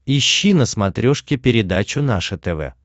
ищи на смотрешке передачу наше тв